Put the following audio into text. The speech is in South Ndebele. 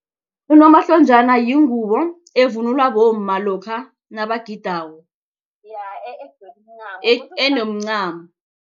Unomahlonjana yingubo evunulwa bomma lokha nabagidako enomncamo.